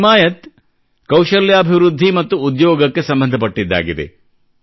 ಹಿಮಾಯತ್ ಕೌಶಲ್ಯಾಭಿವೃದ್ಧಿ ಮತ್ತು ಉದ್ಯೋಗಕ್ಕೆ ಸಂಬಂಧಪಟ್ಟಿದ್ದಾಗಿದೆ